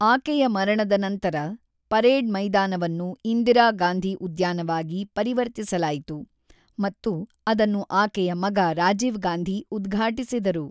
ಆಕೆಯ ಮರಣದ ನಂತರ, ಪರೇಡ್ ಮೈದಾನವನ್ನು ಇಂದಿರಾ ಗಾಂಧಿ ಉದ್ಯಾನವಾಗಿ ಪರಿವರ್ತಿಸಲಾಯಿತು ಮತ್ತು ಅದನ್ನು ಆಕೆಯ ಮಗ ರಾಜೀವ್ ಗಾಂಧಿ ಉದ್ಘಾಟಿಸಿದರು.